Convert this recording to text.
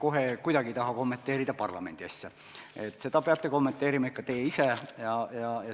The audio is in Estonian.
Ma kohe kuidagi ei taha kommenteerida parlamendi asja, seda peate kommenteerima ikka teie ise.